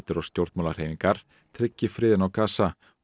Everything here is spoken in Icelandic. og stjórnmálahreyfingar tryggi friðinn á Gaza og